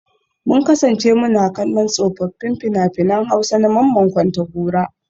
Mun kasance muna kallon tsofaffin fina-finan Hausa na Mamman Kontagora